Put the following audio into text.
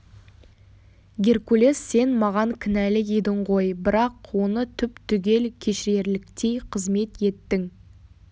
геркулес сен маған кінәлі едің ғой бірақ оны түп-түгел кешірерліктей қызмет еттің